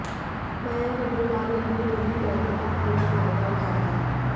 मयंक अग्रवाल ने भी मिले मौकों का पूरा फायदा उठाया